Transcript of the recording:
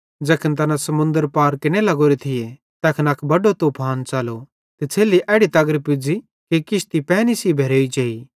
ज़ैखन तैना समुन्दर पार केरने लग्गोरे थिये तैखन अक बड्डो तूफान च़लो त छ़ेल्ली एड़ी तगर पुज़्ज़ी कि किश्ती पैनी सेइं भेरोई जेई